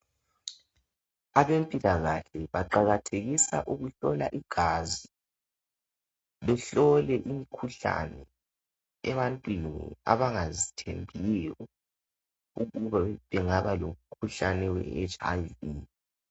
Abempilakahle baqakathekisa ukuhlola igazi . Behlole imikhuhlane ebantwini abangazithembiyo ukuba bengaba lomkhuhlane we HIV.